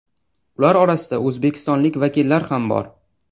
Ular orasida o‘zbekistonlik vakillar ham bor.